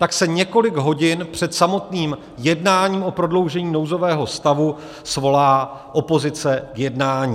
Pak se několik hodin před samotným jednáním o prodloužení nouzového stavu svolá opozice k jednání.